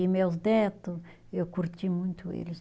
E meus neto, eu curti muito eles.